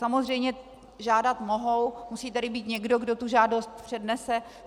Samozřejmě žádat mohou, musí tady být někdo, kdo tu žádost přednese.